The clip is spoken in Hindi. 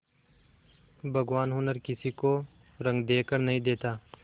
भगवान हुनर किसी को रंग देखकर नहीं देता